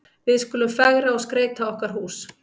Við skulum fegra og skreyta okkar hús.